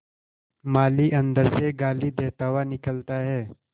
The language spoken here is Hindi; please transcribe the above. माली अंदर से गाली देता हुआ निकलता है